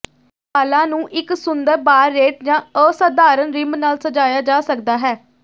ਵਾਲਾਂ ਨੂੰ ਇਕ ਸੁੰਦਰ ਬਾਰਰੇਟ ਜਾਂ ਅਸਾਧਾਰਨ ਰਿਮ ਨਾਲ ਸਜਾਇਆ ਜਾ ਸਕਦਾ ਹੈ